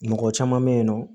Mɔgɔ caman bɛ yen nɔ